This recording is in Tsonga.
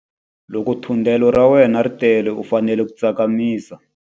Loko thundelo ra wena ri tele u fanele ku tsakamisa.